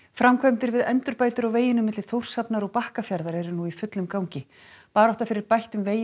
framkvæmdir við endurbætur á veginum milli Þórshafnar og Bakkafjarðar eru nú í fullum gangi barátta fyrir bættum vegi